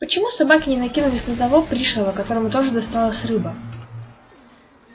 почему собаки не накинулись на того пришлого которому тоже досталась рыба